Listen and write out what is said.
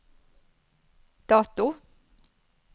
dato